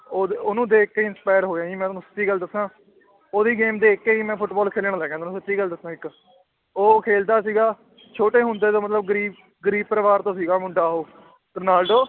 ਉਹਦੇ ਉਹਨੂੰ ਦੇਖ ਕੇ inspire ਹੋਇਆ ਜੀ ਮੈਂ ਤੁਹਾਨੂੰ ਸੱਚੀ ਗੱਲ ਦੱਸਾਂ ਉਹਦੀ game ਦੇਖ ਕੇ ਹੀ ਮੈਂ ਫੁਟਬਾਲ ਖੇਲਣ ਲੱਗਾਂ ਤੁਹਾਨੂੰ ਸੱਚੀ ਗੱਲ ਦੱਸਾਂ ਇੱਕ ਉਹ ਖੇਲਦਾ ਸੀਗਾ ਛੋਟੇ ਹੁੰਦੇ ਤੋਂ ਮਤਲਬ ਗ਼ਰੀਬ ਗ਼ਰੀਬ ਪਰਿਵਾਰ ਤੋਂ ਸੀਗਾ ਮੁੰਡਾ ਉਹ ਰੋਨਾਲਡੋ